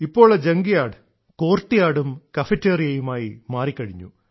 ഇപ്പോൾ ആ ജങ്ക്യാഡും പൂമുഖമായും കഫറ്റേറിയയുമായി മാറിക്കഴിഞ്ഞു